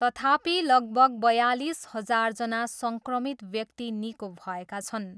तथापि, लगभग बयालिस हजारजना सङ्क्रमित व्यक्ति निको भएका छन्।